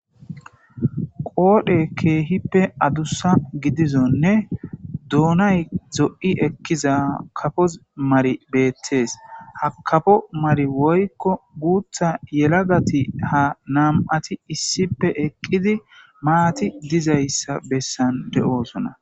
qoodhe keehippe adussa gidizonne duunay zo7i ekkiza kafos mari beettees ha kafo mari woykko guutha yelagati ha nam7ati issipe eqqidi maati dizayssa bessan de7oosona